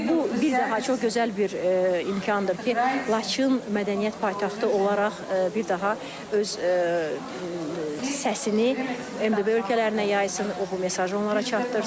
Və bu bir daha çox gözəl bir imkandır ki, Laçın mədəniyyət paytaxtı olaraq bir daha öz səsini MDB ölkələrinə yaysın, o bu mesajı onlara çatdırsın.